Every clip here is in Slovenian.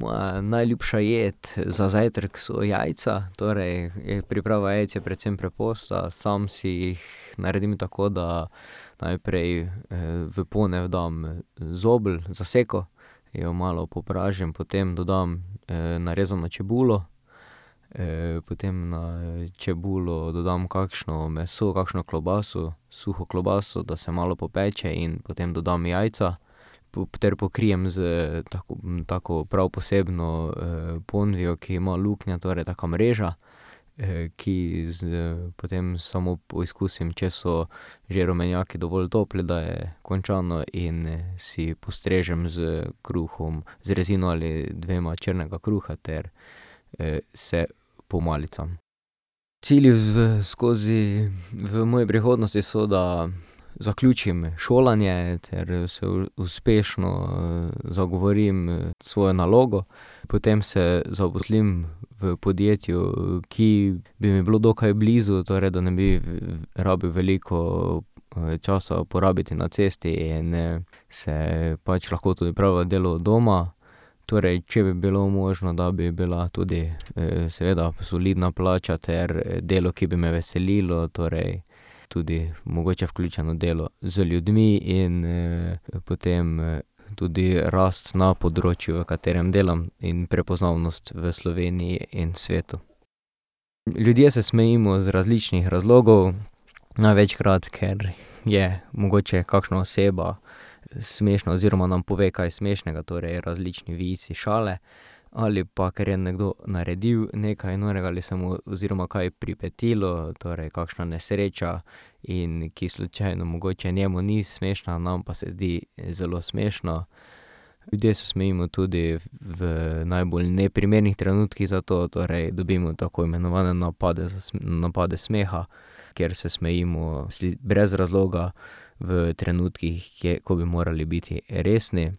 Moja najljubša jed za zajtrk so jajca, torej priprava jajc je predvsem preprosta. Sam si jih naredim tako, da najprej, v ponev dam zabel, zaseko, jo malo popražim. Potem dodam, narezano čebulo, potem na čebulo dodam kakšno meso, kakšno klobaso, suho klobaso, da se malo popeče, in potem dodam jajca, ter pokrijem s tako prav posebno, ponvijo, ki ima luknje, torej taka mreža, ki s potem samo poskusim, če so že rumenjaki dovolj topli, da je končano in si postrežem s kruhom, z rezino ali dvema črnega kruha ter, se pomalicam. Cilji v, skozi, v moji prihodnosti so, da zaključim šolanje ter se uspešno, zagovorim svojo nalogo. Potem se zaposlim v podjetju, ki bi mi bilo dokaj blizu, torej da ne bi rabil veliko, časa porabiti na cesti in, se pač lahko tudi opravlja delo od doma. Torej, če bi bilo možno, da bi bila tudi, seveda solidna plača ter delo, ki bi me veselilo, torej tudi mogoče vključeno delo z ljudmi in, potem, tudi rast na področju, v katerem delam in prepoznavnost v Sloveniji in svetu. Ljudje se smejimo iz različnih razlogov. Največkrat, ker je mogoče kakšna oseba smešna oziroma nam pove kaj smešnega, torej različni vici, šale, ali pa ker je nekdo naredil nekaj norega ali se mu oziroma kaj pripetilo, torej kakšna nesreča, in ki slučajno mogoče njemu ni smešna, nam pa se zdi zelo smešno. Ljudje se smejimo tudi v najbolj neprimernih trenutkih, zato torej dobimo tako imenovane napade napade smeha, kjer se smejimo brez razloga v trenutkih, ko bi morali biti resni.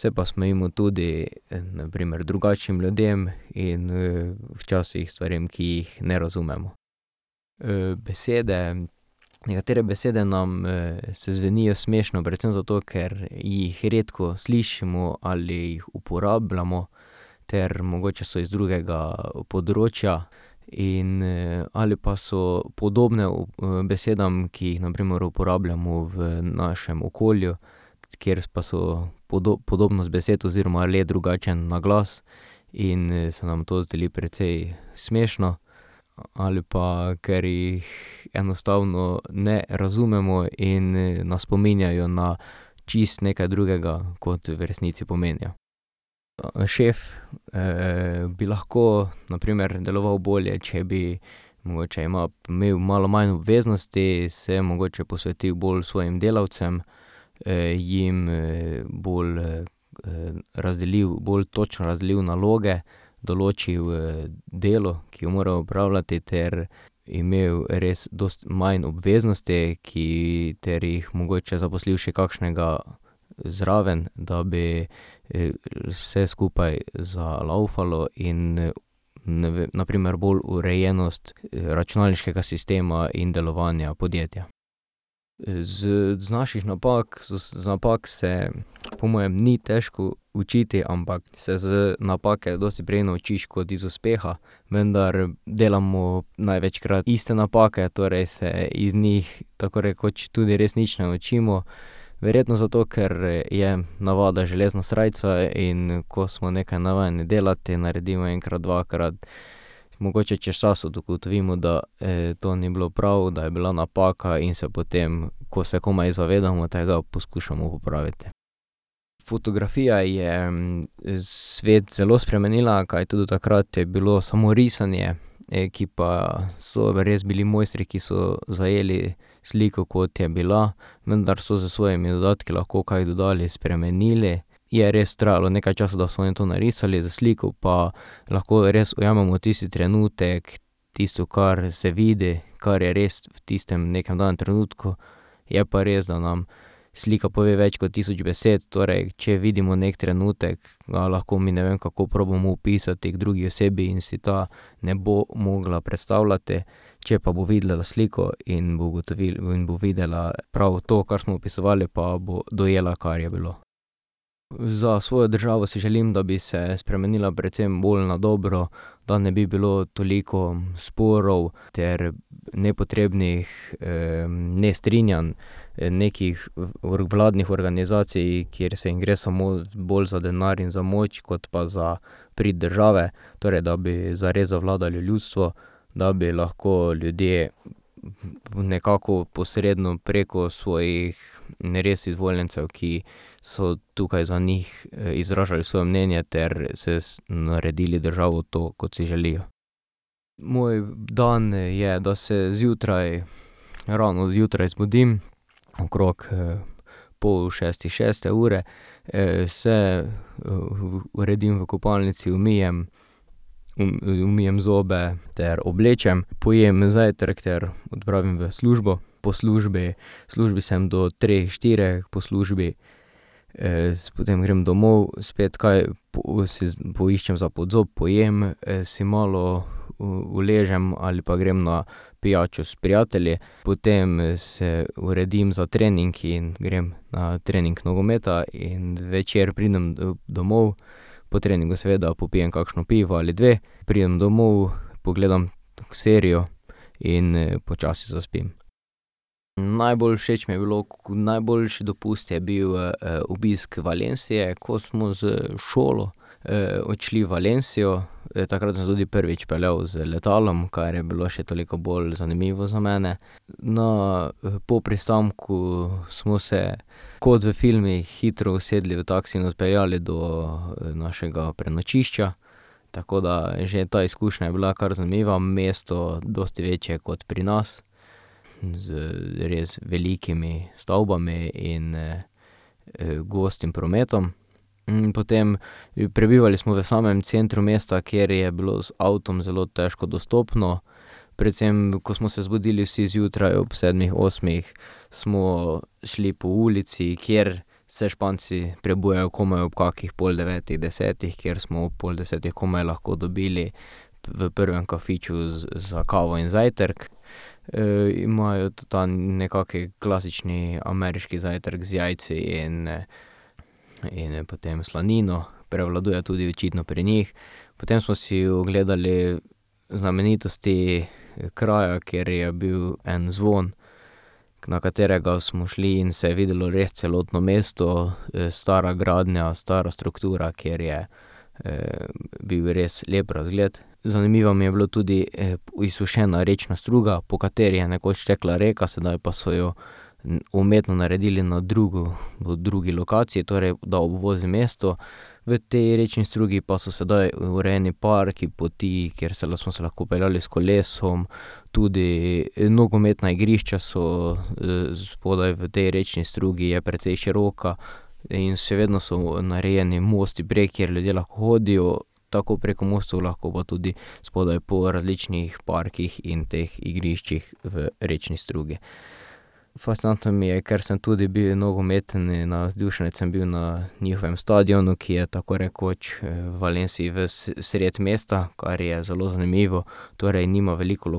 Se pa smejimo tudi na primer drugačnim ljudem in, včasih stvarem, ki jih ne razumemo. besede, nekatere besede nam, se zvenijo smešno predvsem zato, ker jih redko slišimo ali uporabljamo ter mogoče so iz drugega področja in, ali pa so podobne, besedam, ki jih na primer uporabljamo v našem okolju, kjer pa so podobnost besed oziroma le drugačen naglas, in, se nam to zdi precej smešno. Ali pa ker jih enostavno ne razumemo in, nas spominjajo na čisto nekaj drugega kot v resnici pomenijo. Šef, bi lahko na primer deloval bolje, če bi mogoče imel malo manj obveznosti, se mogoče posvetil bolj svojim delavcem, jim, bolj, razdelil, bolj točno razdelil naloge, določil, delo, ki ga mora opravljati, ter imel res dosti manj obveznosti, ki, ter jih mogoče zaposlil še kakšnega zraven, da bi, vse skupaj zalavfalo in, ne na primer bolj urejenost računalniškega sistema in delovanja podjetja. z z naših napak, z napak se po mojem ni težko učiti, ampak se z napake dosti prej naučiš kot iz uspeha. Vendar delamo največkrat iste napake, torej se iz njih tako rekoč tudi res nič ne naučimo. Verjetno zato, ker je navada železna srajca, in ko smo nekaj navajeni delati, naredimo enkrat, dvakrat, mogoče čez čas ugotovimo, da, to ni bilo prav, da je bila napaka, in se potem, ko se komaj zavedamo tega, poskušamo popraviti. Fotografija je svet zelo spremenila, kajti do takrat je bilo samo risanje, ki pa so res bili mojstri, ki so zajeli sliko, kot je bila, vendar so s svojimi lahko dodatki kaj dodali, spremenili. Je res trajalo nekaj časa, da so oni to narisali, s sliko pa lahko res ujamemo tisti trenutek, tisto, kar se vidi, kar je res v tistem, nekem danem trenutku. Je pa res, da nam slika pove več kot tisoč besed. Torej če vidimo neki trenutek, ga lahko mi, ne vem, kako, probamo opisati drugi osebi in si ta ne bo mogla predstavljati. Če pa bo videla sliko in bo in bo videla prav to, kar smo opisovali, pa bo dojela, kar je bilo. Za svojo državo si želim, da bi se spremenila predvsem bolj na dobro, da ne bi bilo toliko sporov ter nepotrebnih, nestrinjanj. Nekih vladnih organizacij, kjer se jim gre samo bolj za denar in za moč kot pa za prid države. Torej da bi zares zavladalo ljudstvo, da bi lahko ljudje nekako posredno preko svojih res izvoljencev, ki so tukaj za njih, izražali svoje mnenje ter se naredili državo to, kot si želijo. Moj dan je, da se zjutraj, rano zjutraj zbudim, okrog, pol šestih, šeste ure, se, uredim v kopalnici, umijem, umijem zobe ter oblečem, pojem zajtrk ter odpravim v službo. Po službi, v službi sem do treh, štirih, po službi, potem grem domov, spet kaj si poiščem za pod zob, pojem, si malo uležem ali pa grem na pijačo s prijatelji. Potem se uredim za trening in grem na trening nogometa in zvečer pridem domov, po treningu seveda popijem kakšno pivo ali dve, pridem domov, pogledam serijo in, počasi zaspim. Najbolj všeč mi je bilo, najboljši dopust je bil, obisk Valencie, ko smo s šolo, odšli v Valencio. Takrat sem se tudi prvič peljal z letalom, kar je bilo še toliko bolj zanimivo za mene. No, po pristanku smo se kot v filmih hitro usedli v taksi in odpeljali do našega prenočišča, tako da že ta izkušnja je bila kar zanimiva. Mesto dosti večje kot pri nas z res velikimi stavbami in, gostim prometom. potem prebivali smo v samem centru mesta, kjer je bilo z avtom zelo težko dostopno, predvsem ko smo se zbudili vsi zjutraj ob sedmih, osmih, smo šli po ulici, kjer se Španci prebujajo komaj ob kakih pol devetih, desetih, kjer smo ob pol desetih komaj lahko dobili v prvem kafiču za kavo in zajtrk. imajo tudi ta nekak klasični ameriški zajtrk z jajci in, in, potem slanino, prevladuje tudi očitno pri njih. Potem smo si ogledali znamenitosti kraja, kjer je bil en zvon, na katerega smo šli in se je videlo res celotno mesto, stara gradnja, stara struktura, kjer je, bil res lep razgled. Zanimiva mi je bilo tudi izsušena rečna struga, po kateri je nekoč tekla rekla, sedaj pa so jo umetno naredili na drugo, drugi lokaciji, torej da obvozi mesto. V tej rečni strugi pa so sedaj urejeni parki, poti, kjer se, smo se lahko peljali s kolesom, tudi nogometna igrišča so spodaj v tej rečni strugi, je precej široka. In še vedno so narejeni mosti prek, kjer ljudje lahko hodijo, tako preko mostov, lahko pa tudi spodaj po različnih parkih in teh igriščih v rečni strugi. Fascinantno mi je, ker sem tudi bil nogometni navdušenec, sem bil na njihovem stadionu, ki je tako rekoč v Valencii, vsredi mesta, kar je zelo zanimivo. Torej nima veliko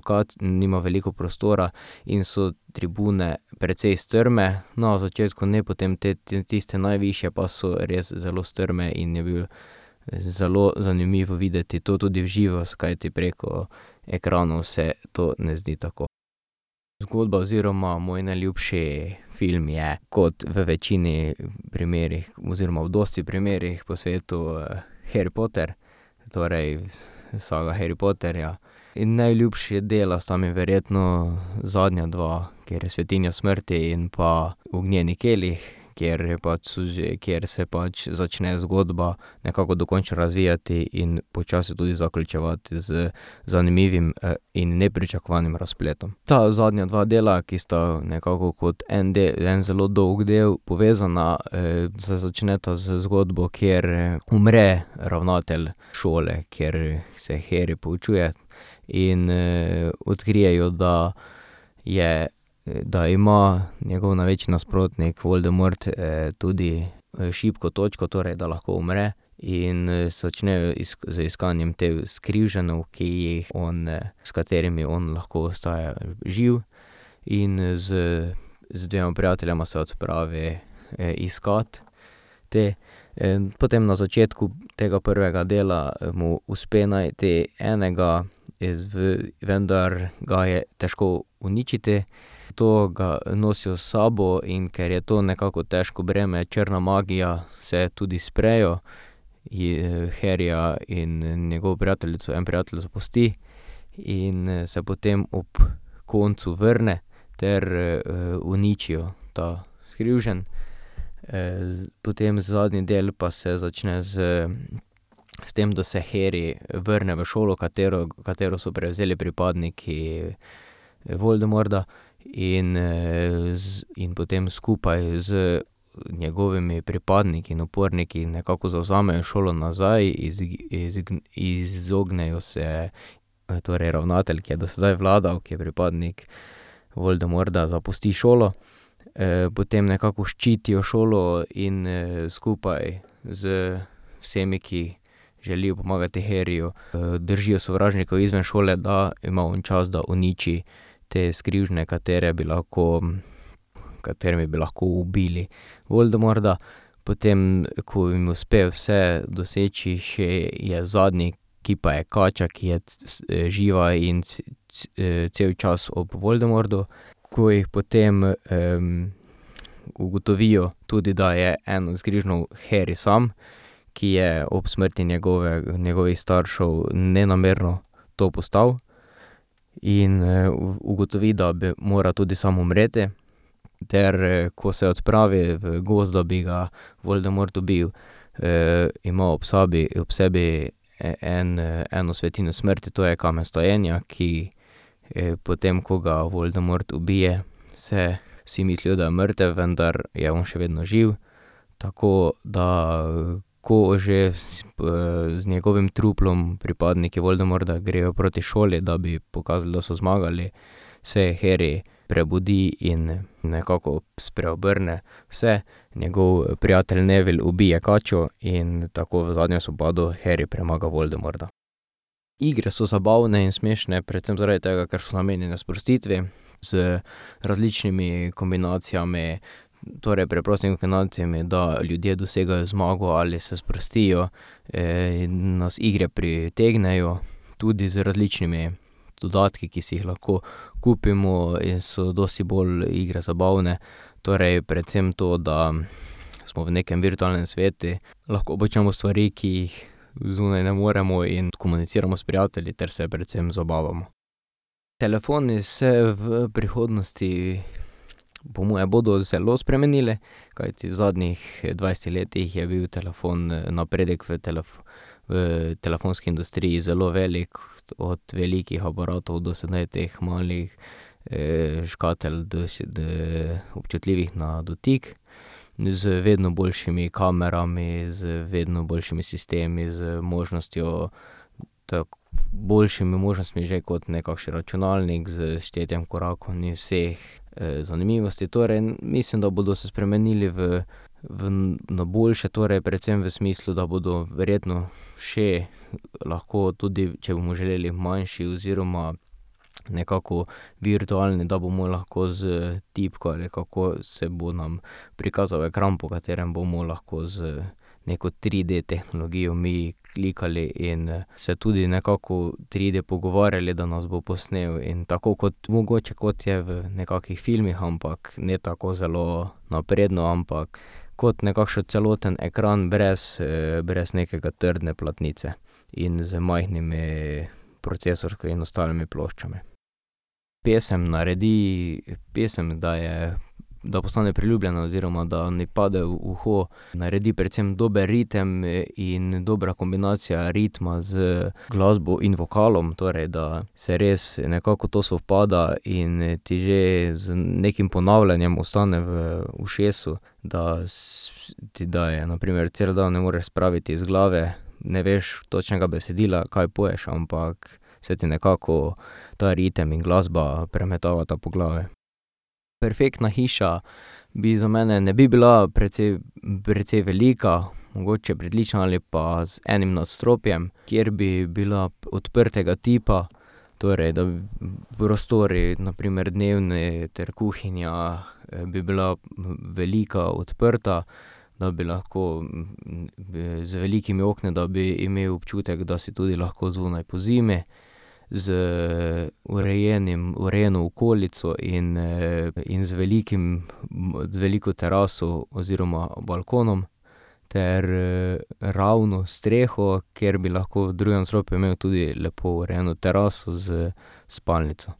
nima veliko prostora in so tribune precej strme. No, na začetku ne, potem te, tiste najvišje pa so res zelo strme in je bil zelo zanimivo videti to tudi v živo, kajti preko ekranov se to ne zdi tako. Zgodba oziroma moj najljubši film je kot v večini primerih oziroma v dosti primerih po svetu, Harry Potter, torej saga Harry Potterja. In najljubša dela sta mi verjetno zadnja dva, kateri Svetinje smrti in pa Ognjeni kelih, kjer pa so kjer se pač začne zgodba nekako dokončno razvijati in počasi tudi zaključevati z zanimivim, in nepričakovanim razpletom. Ta zadnja dva dela, ki sta nekako kot en en zelo dolg del povezana, se začneta z zgodbo, kjer umre ravnatelj šole, kjer se Harry poučuje, in, odkrijejo, da je, da ima njegov največji nasprotnik Voldemort, tudi šibko točko, torej da lahko umre in se začne z iskanjem teh skrivženov, ki jih on, s katerimi on lahko ostaja živ. In, z z dvema prijateljema se odpravi, iskat te. potem na začetku tega prvega dela mu uspe najti enega iz, vendar ga je težko uničiti. To ga nosijo s sabo, in ker je to nekako težko breme, črna magija, se tudi sprejo. Harryja in njegovo prijateljico en prijatelj zapusti in, se potem ob koncu vrne ter, uničijo ta skrivžen. potem zadnji del pa se začne z, s tem, da se Harry vrne v šolo, katero, katero so prevzeli pripadniki Voldemorda, in, in potem skupaj z njegovimi pripadniki in uporniki nekako zavzamejo šolo nazaj, iz izognejo se, torej ravnatelj, ki je do sedaj vladal, ki je pripadnik Voldemorda, zapusti šolo. potem nekako ščitijo šolo in, skupaj z vsemi, ki želijo pomagati Harryju, držijo sovražnika izven šole, da ima on čas, da uniči te skrivžne, katere bi lahko, katerimi bi lahko ubili Voldemorda. Potem ko jim uspe vse doseči, še je zadnji, ki pa je kača, ki je živa in cel čas ob Voldemordu. Ko jih potem, ugotovijo tudi, da je en od skrivžnov Harry sam, ki je ob smrti njegove, njegovih staršev nenamerno to postal, in ugotovi, da mora tudi sam umreti, ter, ko se odpravi v gozd, da bi ga Voldemort dobil, ima ob sebi, ob sebi en, eno svetinjo smrti, to je kamen vstajenja, ki, potem ko ga Voldemort ubije, se vsi mislijo, da je mrtev, vendar je on še vedno živ. Tako da, ko že, z njegovim truplom pripadniki Voldemorda grejo proti šoli, da bi pokazali, da so zmagali, se Harry prebudi in nekako spreobrne vse. Njegov prijatelj Neville ubije kačo in tako v zadnjem spopadu Harry premaga Voldemorda. Igre so zabavne in smešne predvsem zaradi tega, ker so namenjene sprostitvi z različnimi kombinacijami, torej preprostimi kombinacijami, da ljudje dosegajo zmago ali se sprostijo. nas igre pritegnejo tudi z različnimi dodatki, ki si jih lahko kupimo, in so dosti bolj igre zabavne. Torej predvsem to, da smo v nekem virtualnem svetu, lahko počnemo stvari, ki jih zunaj ne moremo, in komuniciramo s prijatelji ter se predvsem zabavamo. Telefoni se v prihodnosti po moje bodo zelo spremenili, kajti v zadnjih dvajsetih letih je bil telefon, napredek v v telefonski industriji zelo velik, od velikih aparatov do sedaj teh malih, škatel, da si občutljivih na dotik, z vedno boljšimi kamerami, z vedno boljšimi sistemi, z možnostjo, boljšimi možnostmi že kot nekakšen računalnik, s štetjem korakom in vseh, zanimivosti. Torej mislim, da bodo se spremenili v, na boljše, torej predvsem v smislu, da bodo verjetno še lahko tudi, če bomo želeli, manjši oziroma nekako virtualni, da bomo lahko s tipko nekako se bo nam prikazal ekran, po katerem bomo lahko z neko tride tehnologijo mi klikali in se tudi nekako triD pogovarjali, da nas bo posnel. In tako kot, mogoče kot je v nekakih filmih, ampak ne tako zelo napredno, ampak kot nekakšen celoten ekran brez, brez nekega trdne platnice in z majhnimi procesorskimi in ostalimi ploščami. Pesem naredi, pesem, da je, da postane priljubljena oziroma da mi pade v uho, naredi predvsem dober ritem in dobra kombinacija ritma z glasbo in vokalom, torej da se res nekako to sovpada in ti že z nekim ponavljanjem ostane v ušesu. Da ti, da je na primer, cel dan ne moreš spraviti iz glave, ne veš točnega besedila, kaj poješ, ampak se te nekako ta ritem in glasba premetavata po glavi. Perfektna hiša bi za mene, ne bi bila precej velika, mogoče pritlična ali pa z enim nadstropjem, ker bi bila odprtega tipa, torej da prostori, na primer dnevni ter kuhinja, bi bila velika, odprta, da bi lahko, z velikimi okni, da bi imeli občutek, da si tudi lahko zunaj pozimi. Z urejenim, urejeno okolico in, in z velikim, veliko teraso oziroma balkonom ter, ravno streho, ker bi lahko v drugem nadstropju imel tudi lepo urejeno teraso s spalnico.